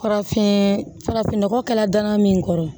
Kɔrɔfin farafinnɔgɔ kɛla daga min kɔrɔ